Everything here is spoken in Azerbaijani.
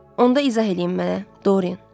Onda izah eləyin mənə, Dorien.